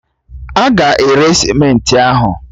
A ga-ere simenti ahụ